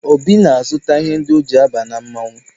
Obi na-azụta ihe ndi o ji aba na mmanwụ